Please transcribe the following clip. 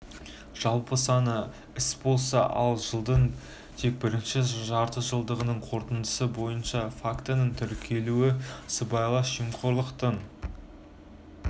жалпы саны іс болса ал жылдың тек бірінші жартыжылдығының қорытындысы бойынша фактінін тіркелуі сыбайлас жемқорлықтың